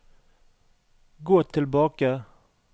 gå tilbake